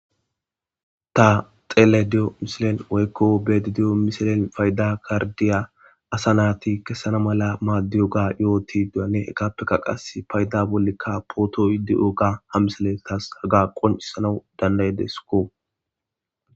ta xele di7o mishilen woykko bedi diyo misilen payda kardiya asa naati kessana mala maaddiyoga yo7oti duyane egappeka qas payda bollekka pootoy di7oga ha misele taas haga qoncisanau danday deskko